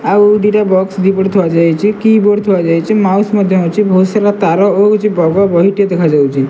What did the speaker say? ଆଉ ଦିଟା ବକ୍ସ ଦିପଟେ ଥୁଆଯାଇଚି କିବୋର୍ଡ଼ ଥୁଆଯାଇଚି ମାଉସ ମଧ୍ୟ ଅଛି ବହୁତସାରା ତାର ଓହଳିଚି ବଗ ବହିଟେ ଦେଖାଯାଉଛି।